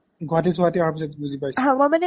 গুৱাহাতি চোহাটি আহাৰ পিছত বুজি পাইছো